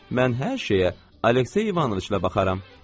Mən hər şeyə Aleksey İvanoviçlə baxaram.